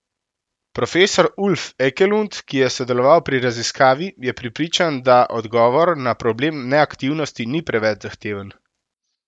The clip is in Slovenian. Profesor Ulf Ekelund, ki je sodeloval pri raziskavi, je prepričan, da odgovor na problem neaktivnosti ni preveč zahteven.